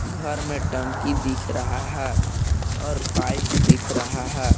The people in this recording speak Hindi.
घर में टंकी दिख रहा है और पाइप दिख रहा है।